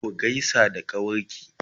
ku gaisa da kawarki!